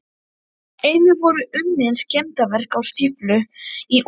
Einnig voru unnin skemmdarverk á stíflu í útfalli